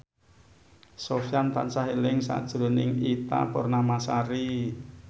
Sofyan tansah eling sakjroning Ita Purnamasari